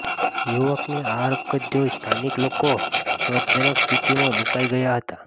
યુવકની આ હરકત જોઇ સ્થાનિક લોકો ક્ષોભજનક સ્થિતિમાં મુકાઇ ગયા હતા